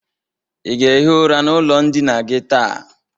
Ị ga-ehi ụra n'ụlọ ndịna gi taa?